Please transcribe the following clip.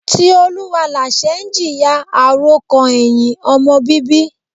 Tioluwalase ń jìyà àròkàn ẹ̀hìn ọmọ bíbí.